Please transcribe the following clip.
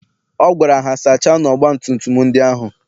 Ọ gwara ha, sachaanụ ọgbatumtum ndị ahụ!